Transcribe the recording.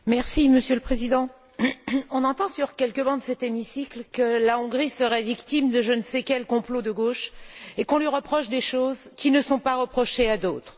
Monsieur le Président, on entend sur quelques bancs de cet hémicycle que la Hongrie serait victime de je ne sais quel complot de gauche et qu'on lui reproche des choses qui ne sont pas reprochées à d'autres.